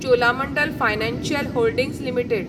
Cholamandalam financial holdings limited